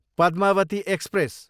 Padmavati express